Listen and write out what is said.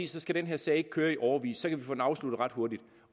så skal den her sag ikke køre i årevis og så kan vi få den afsluttet ret hurtigt